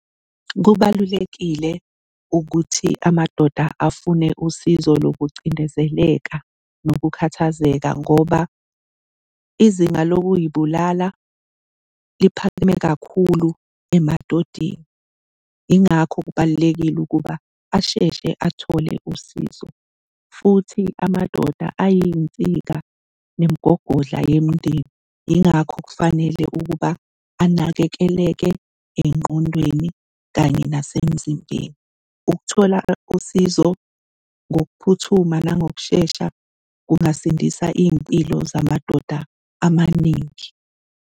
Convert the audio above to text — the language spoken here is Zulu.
Kubalulekile ukuthi amadoda afune usizo lokucindezeleka nokukhathazeka ngoba izinga lokuy'bulala liphakeme kakhulu emadodeni, yingakho kubalulekile ukuba asheshe athole usizo. Futhi amadoda ayinsika nemigogodla yomndeni yingakho kufanele ukuba anakekeleke engqondweni kanye nasemzimbeni. Ukuthola usizo ngokuphuthuma nangokushesha kungasindisa iy'mpilo zamadoda amaningi.